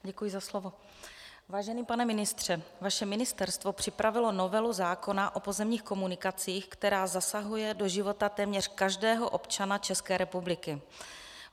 Vážený pane ministře, vaše ministerstvo připravilo novelu zákona o pozemních komunikacích, která zasahuje do života téměř každého občana České republiky.